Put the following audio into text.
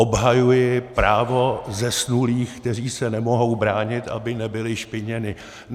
Obhajuji právo zesnulých, kteří se nemohou bránit, aby nebyli špiněni.